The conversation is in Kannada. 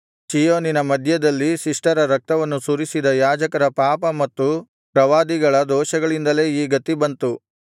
ಚೀಯೋನಿನ ಮಧ್ಯದಲ್ಲಿ ಶಿಷ್ಟರ ರಕ್ತವನ್ನು ಸುರಿಸಿದ ಯಾಜಕರ ಪಾಪ ಮತ್ತು ಪ್ರವಾದಿಗಳ ದೋಷಗಳಿಂದಲೇ ಈ ಗತಿ ಬಂತು